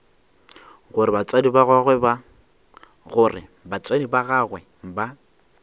gore batswadi ba gagwe ba